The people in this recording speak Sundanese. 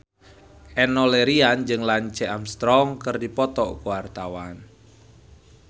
Enno Lerian jeung Lance Armstrong keur dipoto ku wartawan